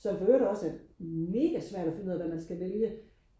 som for øvrigt også er mega svært og finde ud af hvad man skal vælge